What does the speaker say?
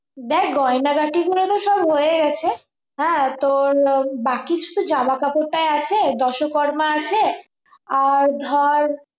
দেখ গয়নাগাটি গুলো তো সব হয়ে গেছে হ্যাঁ তোর বাকি শুধু জামা কাপড়টাই আছে দশকর্মা আছে আর ধর